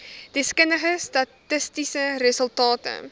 deskundige statistiese resultate